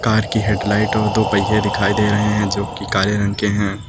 Car की headlight और दो पहिये दिखाई दे रहे हैं जोकि काले रंग के हैं।